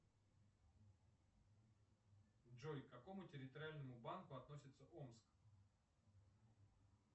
джой к какому территориальному банку относится омск